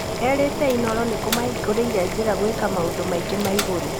Erĩte Inooro nĩ kũmahingũrĩire njĩra gwĩka maũmdũ maingĩ ma igũrũ.